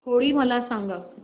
होळी मला सांगा